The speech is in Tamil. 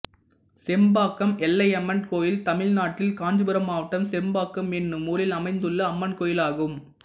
செம்பாக்கம் எல்லையம்மன் கோயில் தமிழ்நாட்டில் காஞ்சிபுரம் மாவட்டம் செம்பாக்கம் என்னும் ஊரில் அமைந்துள்ள அம்மன் கோயிலாகும்